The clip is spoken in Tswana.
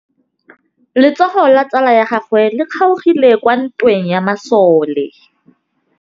Letsôgô la tsala ya gagwe le kgaogile kwa ntweng ya masole.